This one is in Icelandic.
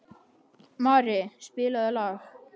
Mari, spilaðu lag.